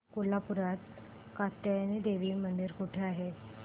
कोल्हापूरात कात्यायनी देवी मंदिर कुठे आहे